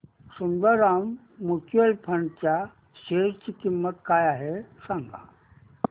Sundaram mutual fund च्या share ची किंमत काय आहे सांगा